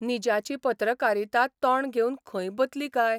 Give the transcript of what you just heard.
निजाची पत्रकारिता तोंड घेवन खंय बतली काय?